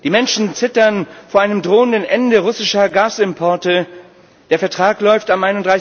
Die Menschen zittern vor einem drohenden Ende russischer Gasimporte der Vertrag läuft am